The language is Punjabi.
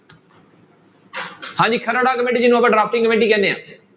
ਹਾਂਜੀ ਜਿਹਨੂੰ ਆਪਾਂ drafting ਕਮੇਟੀ ਕਹਿੰਦੇ ਹਾਂ।